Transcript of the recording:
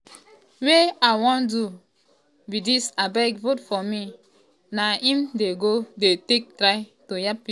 wey i wan do be dis abeg vote for me na im dem go dey take try to yab pipo."